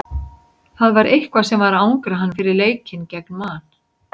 Það var eitthvað sem var að angra hann fyrir leikinn gegn Man.